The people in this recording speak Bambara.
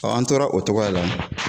an tora o cogoya la